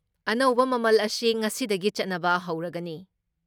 ꯑꯅꯧꯕ ꯃꯃꯜ ꯑꯁꯤ ꯉꯁꯤꯗꯒꯤ ꯆꯠꯅꯕ ꯍꯧꯔꯒꯅꯤ ꯫